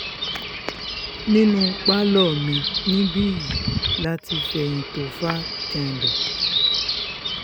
nínú pálọ̀ mi níbí yìí la ti fẹ̀yìn tofa janlẹ̀